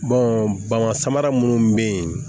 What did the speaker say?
bama samara munnu be yen